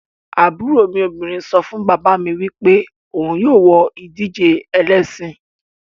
Aburo mi obinrin so fun baba mi wipe ohun yoo wo idije elesin